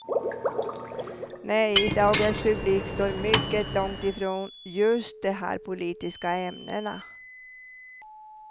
Nej, dagens publik står mycket långt ifrån just de här politiska ämnena.